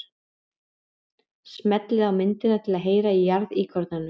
Smellið á myndina til að heyra í jarðíkornanum.